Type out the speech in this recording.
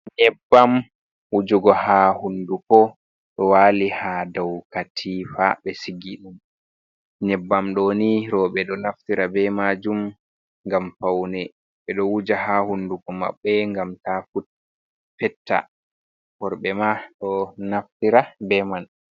Nyebbam wujugo ha hunduko do wali ha Dau katifa ɓe sigi ɗum. Nyebbam ɗoni roɓe ɗo naftira be majum ngam faune. Ɓeɗo wuja ha hunduko maɓɓe ngam ta fetta. Worɓe ma do naftira be man.